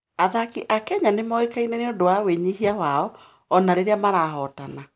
Athaki a Kenya nĩ moĩkaine nĩ ũndũ wa wĩnyihia wao, o na rĩrĩa marahootana.